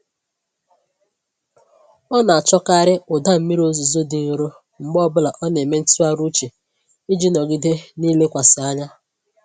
Ọ na-achọkarị ụda mmiri ozuzo dị nro mgbe ọbụla ọ na-eme ntụgharị uche iji nọgide na-elekwasị anya.